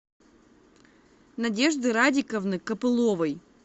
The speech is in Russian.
надежды радиковны копыловой